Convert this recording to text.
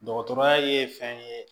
Dɔgɔtɔrɔya ye fɛn ye